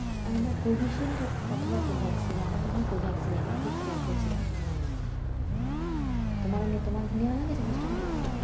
আহ না Covishield অথবা Covaxin আমার বোধহয় Covaxin নেয়া। আমার ঠিক খেয়াল পরছে না। তোমার এমনি তোমার কি নেয়া হয়েছে booster dose?